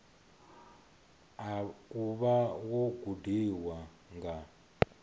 u vha wo gudiwa nga